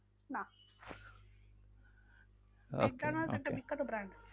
না আচ্ছা ম্যাকডোনালস একটা বিখ্যাত brand.